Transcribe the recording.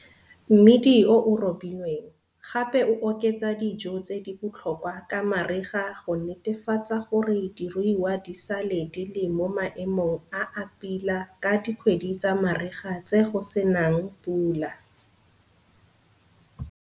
Mmidi o o robilweng, gape o oketsa dijo tse di botlhokwa ka mariga go netefatsa gore diruiwa di sale di le mo maemong a a pila ka dikgwedi tsa mariga tse go se nang pula.